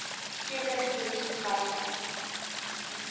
sekere chemiese gasse